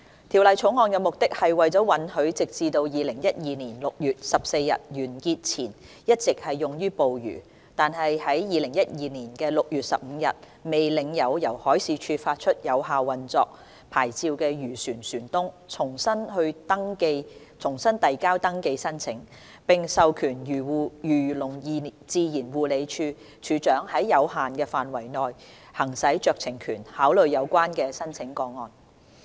《條例草案》的目的是針對直至2012年6月14日完結前一直用於捕魚、但在2012年6月15日未領有由海事處發出有效運作牌照的漁船，允許其船東重新遞交登記申請，並授權漁農自然護理署署長在有限範圍內行使酌情權，考慮有關的申請個案。